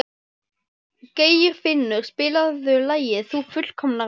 Geirfinnur, spilaðu lagið „Þú fullkomnar mig“.